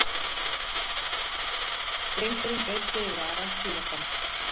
Drengurinn breiddi yfir Ara síðastan.